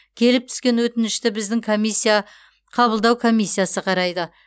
келіп түскен өтінішті біздің комиссия қабылдау комиссиясы қарайды